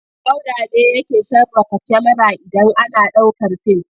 Auda ne yake sarrafa kyamara idan ana ɗaukar fim.